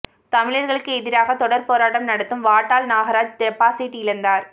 தமிழர்களுக்கு எதிராக தொடர் போராட்டம் நடத்தும் வாட்டாள் நாகராஜ் டெபாசிட் இழந்தார்